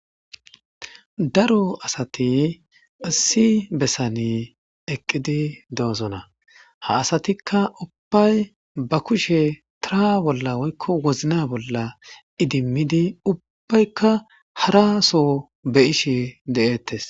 Daro asati issi bessani eqidi de"ossona ha asatikka ba wozinna bolla woththidi harasso beyishshe detes